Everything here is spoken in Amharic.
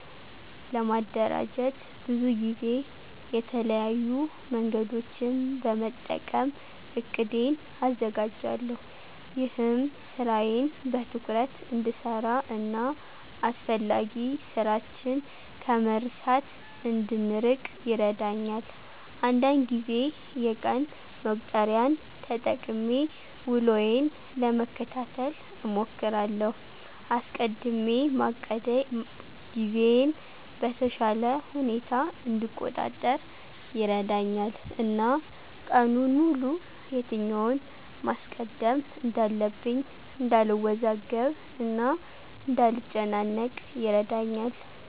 ለማደራጀት ብዙ ጊዜ የተለያዩ መንገዶችን በመጠቀም እቅዴን አዘጋጃለሁ። ይህም ስራዬን በትኩረት እንድሰራ እና አስፈላጊ ስራችን ከመርሳት እንድንርቅ ይረዳኛል። አንዳንድ ጊዜ የቀን መቁጠሪያን ተጠቅሜ ውሎዬን ለመከታተል እሞክራለሁ። አስቀድሜ ማቀዴ ጊዜዬን በተሻለ ሁኔታ እንድቆጣጠር ይረዳኛል እና ቀኑን ሙሉ የትኛውን ማስቀደም እንዳለብኝ እንዳልወዛገብ እና እንዳልጨናነቅ ይረዳኛል።